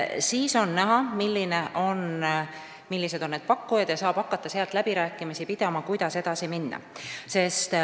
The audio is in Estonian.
Siis on näha, millised on pakkujad, ja saab hakata läbirääkimisi pidama, kuidas edasi minna.